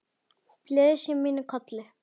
Blessuð sé minning Kollu.